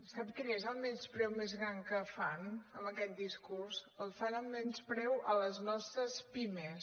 sap quin és el menyspreu més gran que fan amb aquest discurs el fan el menyspreu a les nostres pimes